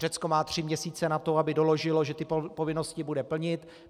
Řecko má tři měsíce na to, aby doložilo, že ty povinnosti bude plnit.